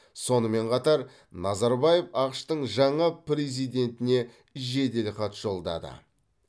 сонымен қатар назарбаев ақш тың жаңа президентіне жеделхат жолдады